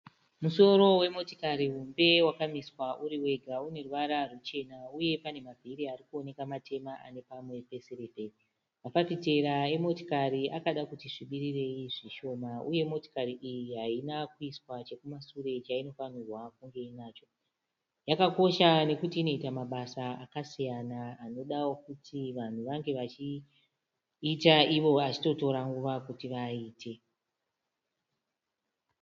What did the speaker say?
Musoro wemotikari hombe wakamiswa uru wega. Uneruvara ruchena uye pane mavhiri ari kuonekwa matema ane pamwe pesirivheri. Mafafitera emotikari akadakuti svibirei zvishoma uye motikari iyi haina kuiswa chekumashure chainofanirwa kunge inacho. Yakakosha nekuti inoita mabasa akasiyana anoda kuti vanhu vange vachiita ivo vachitora nguva kuti vaaite.